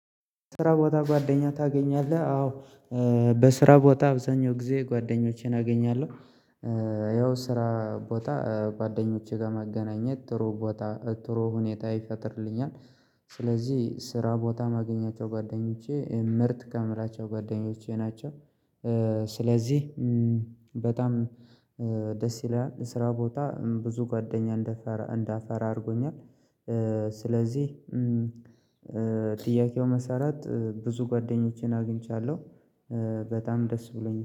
ስራ ቦታ ጓደኛ ታገኛለህ? አዎ በስራ ቦታ አብዛኛው ጊዜ ጓደኞቼን አገኛለሁ። ያው ስራ ቦታ ጓደኞቼ ጋር ማገናኘት ጥሩ ቦታ ጥሩ ሁኔታ ይፈጥርልኛል። ስለዚህ ስራ ቦታ ማገኛቸው ጓደኞቼ ምርጥ ከምላቸው ጓደኞቼ ናቸው። ስለዚህ በጣም ደስ ይላል ስራ ቦታ ብዙ ጓደኛ እንደፈራ እንዳፈራ አድርጎኛል። ስለዚህ ጥያቄው መሰረት ብዙ ጓደኞቼን አግኝቻለሁ። በጣም ደስ ብሎኝ